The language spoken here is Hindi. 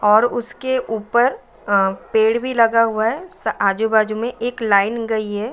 और उसके ऊपर अ पेड़ भी लगा हुआ है। स आजु बाजू में एक लाइन गई है।